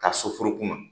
Ka sofuru kunna